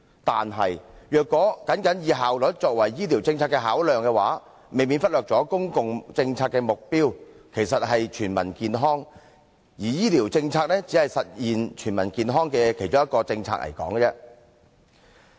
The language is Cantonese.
但是，如果僅以效率作為醫療政策的考量，未免忽略了公共政策的目標其實是全民健康，而醫療政策只是實現全民健康的其中一項政策而已。